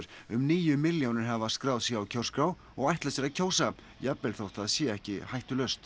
um níu milljónir hafa skráð sig á kjörskrá og ætla sér að kjósa jafnvel þótt það sé ekki hættulaust